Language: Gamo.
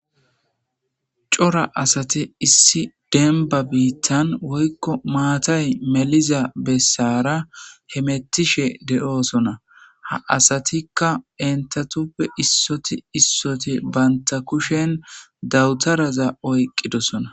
cora asate issi denba biittan woykko maatay meliza bessara he mettishe de'oosona ha asatikka entatuppe issoti issoti banta kushen dawutaraza oyqqidosona